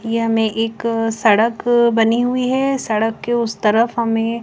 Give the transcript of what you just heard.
यहा में एक सडक बनी हुई है सडक के उस तरफ हमे--